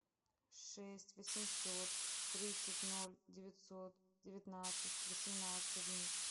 шесть восемьсот тридцать ноль девятьсот девятнадцать восемнадцать одиннадцать